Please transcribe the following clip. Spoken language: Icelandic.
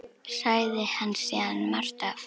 Sagði hann síðan margt af